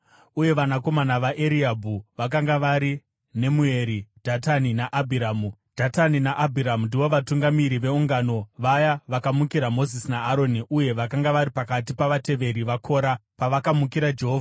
uye vanakomana vaEriabhi vakanga vari Nemueri, Dhatani naAbhiramu. Dhatani naAbhiramu ndivo vatungamiri veungano vaya vakamukira Mozisi naAroni uye vakanga vari pakati pavateveri vaKora pavakamukira Jehovha.